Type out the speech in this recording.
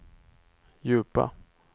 djupa